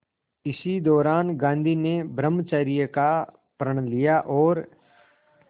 इसी दौरान गांधी ने ब्रह्मचर्य का प्रण लिया और